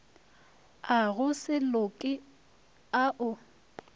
a go se loke ao